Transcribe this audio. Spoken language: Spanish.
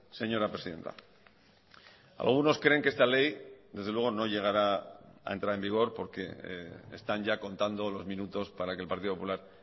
señora presidenta algunos creen que esta ley desde luego no llegará a entrar en vigor porque están ya contando los minutos para que el partido popular